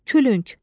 Külünk.